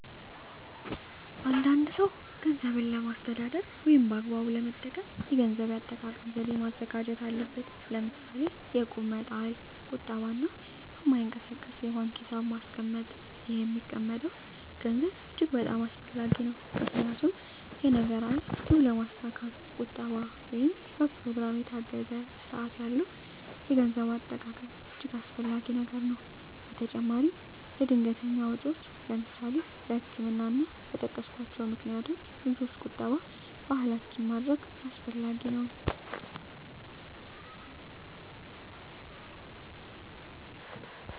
አ አንድ ሰው ገንዘብን ለማስተዳደር ወይም በአግባቡ ለመጠቀም የገንዘብ አጠቃቀም ዘዴ ማዘጋጀት አለበት ለምሳሌ የእቁብ መጣል ቁጠባ እና በማይንቀሳቀስ የባንክ ሒሳብ ማስቀመጥ ይህ የሚቀመጠም ገንዘብ እጅግ በጣም አስፈላጊ ነው ምክንያቱም የነገ ራዕይ ግብ ለማስካት ቁጠባ ወይም በኘሮግራም የታገዘ ስርአት ያለው የገንዘብ አጠቃቀም እጅገ አስፈላጊ ነገር ነው በተጨማራም ለድንገተኛ ወጨወች ለምሳሌ ለህክምና እና እና በጠቀስኮቸው ምክንያቶች ልጆች ቁጠባ ባህላችን ማድረግ አስፈላጊ ነው።